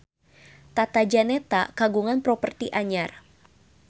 Tata Janeta kagungan properti anyar